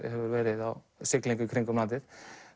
hefur verið á siglingu í kringum landið